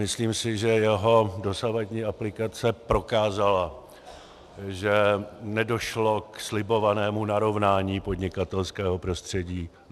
Myslím si, že jeho dosavadní aplikace prokázala, že nedošlo k slibovanému narovnání podnikatelského prostředí.